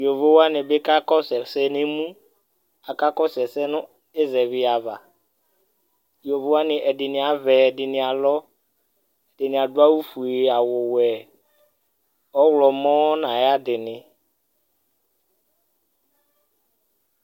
yovo wʋani bi ka kɔsu ɛsɛ nu emu, aka kɔsu ɛsɛ nu ɛsɛvi ava, yovo wʋani ɛdini avɛ, ɛdini alɔ, ɛdini adu awu fue, awu wɛ, ɔwlɔmɔ nu ayi adini